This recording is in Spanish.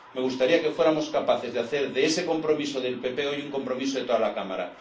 Me gustaría que fuéramos capaces de hacer de ese compromiso del PP hoy un compromiso de toda la Cámara.